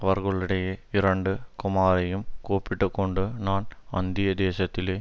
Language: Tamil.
அவர்களுடைய இரண்டு குமாரையும் கூப்பிட்டுக்கொண்டு நான் அந்நிய தேசத்திலே